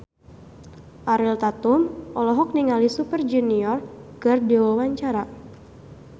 Ariel Tatum olohok ningali Super Junior keur diwawancara